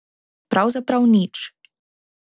Pravzaprav nič.